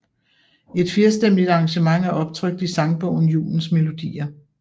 Et firstemmigt arrangement er optrykt i sangbogen Julens Melodier